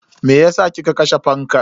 Meyasa kika kashe fankan?